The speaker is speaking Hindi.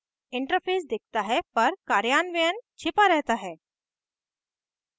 interface दिखता है पर कार्यान्वयन छिपा रहता है